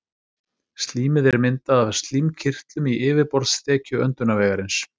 Slímið er myndað af slímkirtlum í yfirborðsþekju öndunarvegarins.